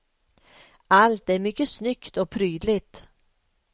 Allt är mycket snyggt och prydligt.